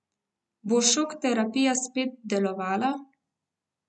Bo šok terapija spet delovala?